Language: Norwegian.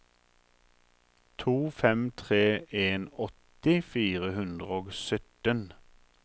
to fem tre en åtti fire hundre og sytten